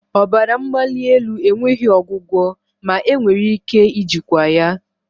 Ọbara mgbali elu enweghị ọgwụgwọ ma enwere ike ijikwa ya